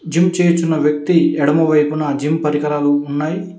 Gym చేయుచున్నా వ్యక్తి ఎడమ వైపున జిమ్ పరికరాలు ఉన్నాయి.